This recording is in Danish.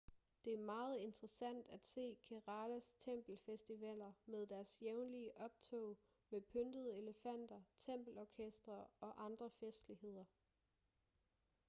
det er meget interessant at se keralas tempelfestivaler med deres jævnlige optog med pyntede elefanter tempelorkestre og andre festligheder